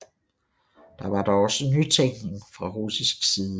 Der var dog også nytænkning fra russisk side